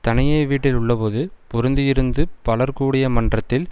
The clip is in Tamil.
தனியே வீட்டில் உள்ளபோது பொருந்தியிருந்து பலர் கூடிய மன்றத்தில்